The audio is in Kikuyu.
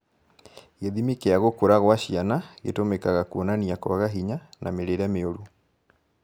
Gĩthimi kĩa gũkũra gwa ciana gĩtũmĩkaga kuonania kwaga hinya na mĩrĩĩre mĩũru